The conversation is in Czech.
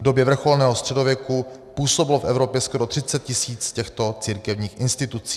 V době vrcholného středověku působilo v Evropě skoro 30 tisíc těchto církevních institucí.